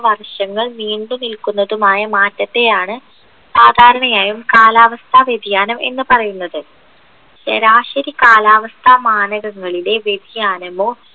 വർഷങ്ങൾ നീണ്ടുനിൽക്കുന്നതുമായ മാറ്റത്തെയാണ് സാധാരണയായും കാലാവസ്ഥ വ്യതിയാനം എന്ന് പറയുന്നത് ശരാശരി കാലാവസ്ഥ മാനകങ്ങളിലെ വ്യതിയാനമോ